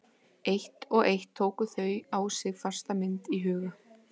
Eitt og eitt tóku þau á sig fasta mynd í huga